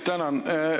Tänan!